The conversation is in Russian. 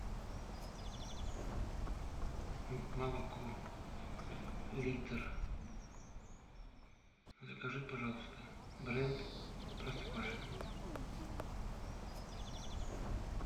молоко литр закажи пожалуйста бренд простоквашино